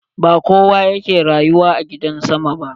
Ba kowa yake rayuwa a gidan sama ba.